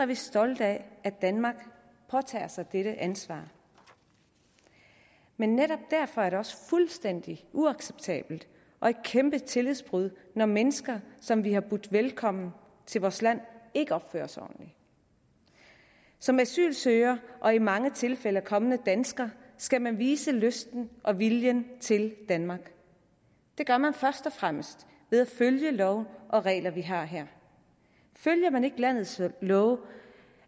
vi stolte af at danmark påtager sig dette ansvar men netop derfor er det også fuldstændig uacceptabelt og et kæmpe tillidsbrud når mennesker som vi har budt velkommen til vores land ikke opfører sig ordentligt som asylansøger og i mange tilfælde kommende dansker skal man vise lysten og viljen til danmark det gør man først og fremmest ved at følge love og regler vi har her følger man ikke landets love